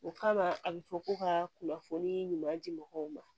O kama a bɛ fɔ ko ka kunnafoni ɲuman di mɔgɔw ma